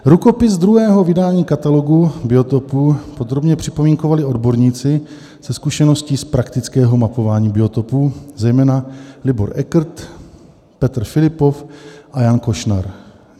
Rukopis druhého vydání Katalogu biotopů podrobně připomínkovali odborníci se zkušeností z praktického mapování biotopů, zejména Libor Ekrt, Petr Filippov a Jan Košnar.